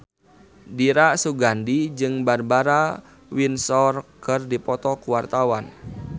Dira Sugandi jeung Barbara Windsor keur dipoto ku wartawan